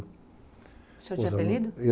O senhor tinha apelido?